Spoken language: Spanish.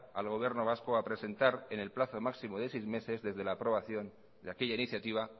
al gobierno vasco a presentar en el plazo máximo de seis meses de la aprobación de aquella iniciativa